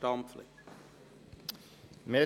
Er will wandeln.